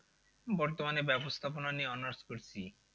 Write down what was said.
বর্তমানে ব্যবস্থাপনা নিয়ে honours করছি।